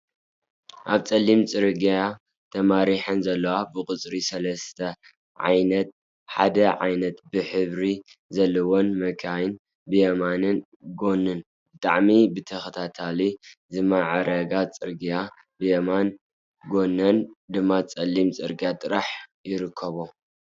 ኣብ ፀሊም ፅርግያ ተማረሐን ዘለዋ ብቁፅሪ ሰለስተ ብዓይነት ሓደ ዓይነት ሕብሪ ዘለወን መኪና ብየማናይ ጎነን ብጣዕሚ ብተክልታት ዝማዕረገ ፅርግያ ብየማናይ ጎነን ድማ ፀሊም ፅርግያ ጥራሕ ይርከቦ፡፡